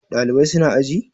Ɗalibai su na aji?